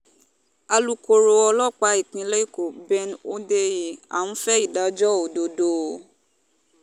alūkkóró ọlọ́pàá ìpínlẹ̀ èkó ben hondnyin à ń fẹ́ ìdájọ́ ìdájọ́ òdodo o